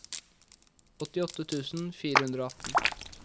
åttiåtte tusen fire hundre og atten